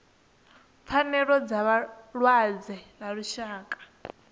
pfanelo dza vhalwadze ḽa lushaka